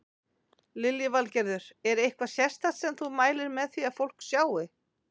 Lillý Valgerður: Er eitthvað sérstakt sem þú mælir með því að fólk sjái?